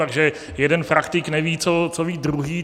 Takže jeden praktik neví, co ví druhý.